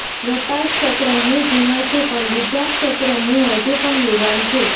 વેપાર ક્ષેત્રે હું જૂનો છું પણ બીજા ક્ષેત્રે હું હજુ પણ યુવાન છુ